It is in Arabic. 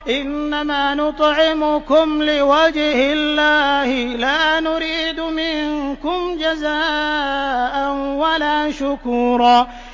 إِنَّمَا نُطْعِمُكُمْ لِوَجْهِ اللَّهِ لَا نُرِيدُ مِنكُمْ جَزَاءً وَلَا شُكُورًا